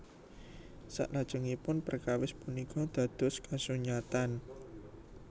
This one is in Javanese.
Saklajengipun perkawis punika dados kasunyatan